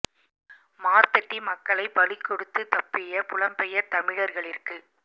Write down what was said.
மார்தட்டி மக்களை பலி கொடுத்து தப்பிய புலம்பெயர் தமிழர்களிற்கு